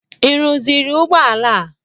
Ị rụziri ụgbọ ala a?